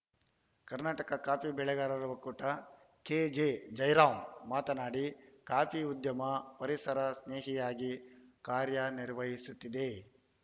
Karnataka coffee ಬೆಳೆಗಾರರ ಒಕ್ಕೂಟ KJ Jairam ಮಾತನಾಡಿ ಕಾಫಿ ಉದ್ಯಮ ಪರಿಸರ ಸ್ನೇಹಿಯಾಗಿ ಕಾರ್ಯನಿರ್ವಹಿಸುತ್ತಿದೆ